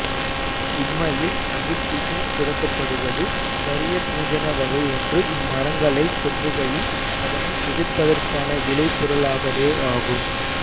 உண்மையில் அகிற் பிசின் சுரக்கப்படுவது கரிய பூஞ்சண வகையொன்று இம்மரங்களைத் தொற்றுகையில் அதனை எதிர்ப்பதற்கான விளை பொருளாகவேயாகும்